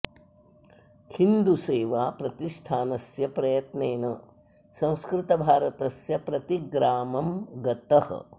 हिन्दु सेवा प्रतिष्ठानस्य प्रयत्नेन संस्कृत भारतस्य प्रतिग्रामं गतः